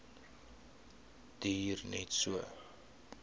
duur net so